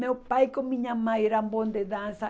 Meu pai com minha mãe eram bons de dança.